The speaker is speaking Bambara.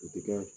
U ti kɛ